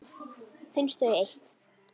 Finnst þau eitt.